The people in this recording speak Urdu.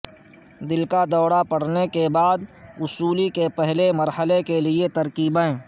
دل کا دورہ پڑنے کے بعد وصولی کے پہلے مرحلے کے لئے کی ترکیبیں